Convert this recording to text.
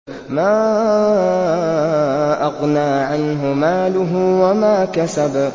مَا أَغْنَىٰ عَنْهُ مَالُهُ وَمَا كَسَبَ